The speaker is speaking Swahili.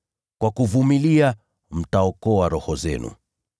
Kwa kuvumilia mtaokoa roho zenu.